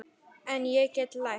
En ég get lært.